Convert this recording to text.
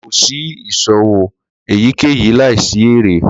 Ko ṣe iṣowo eyikeyi laisi ere.